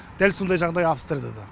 дәл сондай жағдай австрияда да